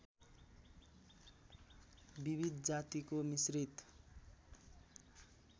विविध जातिको मिश्रित